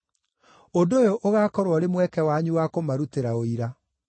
Ũndũ ũyũ ũgaakorwo ũrĩ mweke wanyu wa kũmarutĩra ũira.